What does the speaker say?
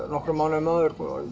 nokkrum mánuðum áður